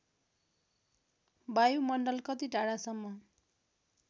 वायुमण्डल कति टाढासम्म